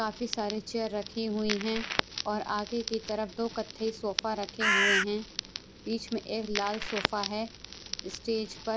काफी सारे चेयर रखी हुई हैं और आगे की तरफ दो कथई सोफा रखे हुए हैं बीच में एक लाल सोफा है स्टेज पर--